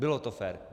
Bylo to fér.